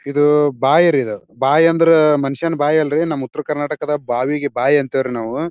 ಇದು ಬಾಯಿ ರೀ ಬಾಯಿ ಅಂದ್ರೆ ಮನುಷ್ಯನ ಬಾಯಿ ಅಲ್ರಿ ನಮ್ ಉತ್ತರ ಕರ್ನಾಟದಲ್ಲಿ ಬಾವಿಗೆ ಬಾಯಿ ಅಂತಾರ ರೀ ನಾವು.